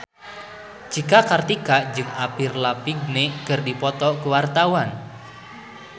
Cika Kartika jeung Avril Lavigne keur dipoto ku wartawan